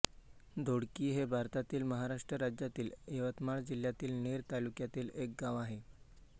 दोडकी हे भारतातील महाराष्ट्र राज्यातील यवतमाळ जिल्ह्यातील नेर तालुक्यातील एक गाव आहे